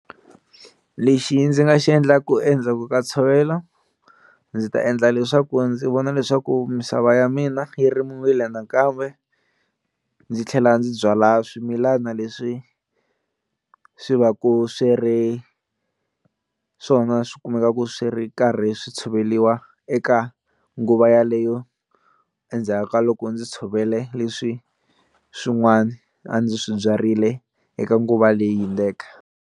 Lexi ndzi nga xi endlaku endzhaku ka tshovela ndzi ta endla leswaku ndzi vona leswaku misava ya mina yi rimiwile nakambe ndzi tlhela ndzi byala swimilana leswi swi va ku swi ri swona swi kumeka swi ri karhi swi tshoveriwa eka nguva yaleyo endzhaku ka loko ndzi tshovele leswi swin'wani a ndzi swi byarile eka nguva leyi hundzeke.